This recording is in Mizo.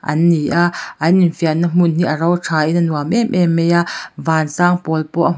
an ni a an infiamna hmun hi a ro thain a nuam em em mai a van sang pawl pawh a hm--